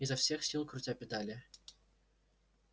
изо всех сил крутя педали